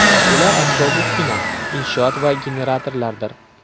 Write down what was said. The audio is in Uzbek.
Bular asbob-uskuna, inshoot va generatorlardir.